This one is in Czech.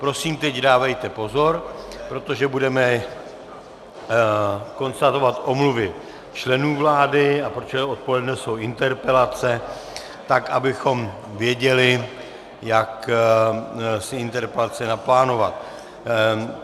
Prosím, teď dávejte pozor, protože budeme konstatovat omluvy členů vlády, a protože odpoledne jsou interpelace, tak abychom věděli, jak si interpelace naplánovat.